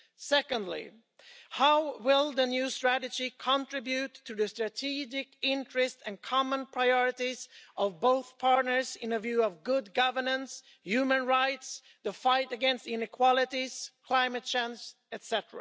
Secondly, how will the new strategy contribute to the strategic interests and common priorities of both partners with a view to good governance, human rights, the fight against inequalities, climate change, etc.?